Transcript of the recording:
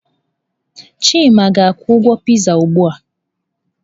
Chima ga-akwụ ụgwọ Pịzaa ugbu a.